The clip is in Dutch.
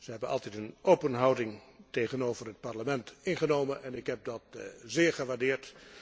Zij hebben altijd een open houding tegenover het Parlement ingenomen en ik heb dat zeer gewaardeerd.